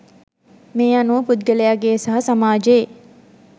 මේ අනුව පුද්ගලයාගේ සහ සමාජයේ